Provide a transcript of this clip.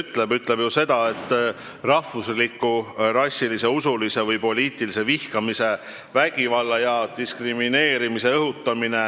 See ütleb ju seda, et rahvusliku, rassilise, usulise või poliitilise vihkamise, vägivalla ja diskrimineerimise õhutamine